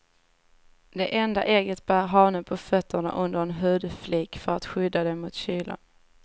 Det enda ägget bär hanen på fötterna under en hudflik för att skydda det mot kylan.